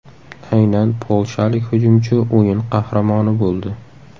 Aynan polshalik hujumchi o‘yin qahramoni bo‘ldi.